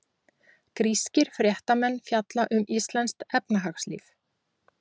Grískir fréttamenn fjalla um íslenskt efnahagslíf